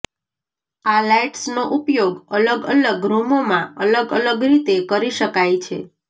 આ લાઈટ્સનો ઉપયોગ અલગ અલગ રૂમોમાં અલગ અલગ રીતે કરી શકાય છે